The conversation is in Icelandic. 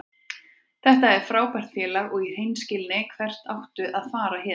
Þetta er frábært félag og í hreinskilni, hvert áttu að fara héðan?